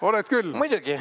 Oled küll!